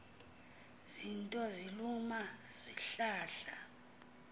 zinto siluma silahla